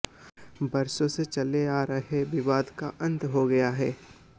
वर्षों से चले आ रहे विवाद का अंत हो गया है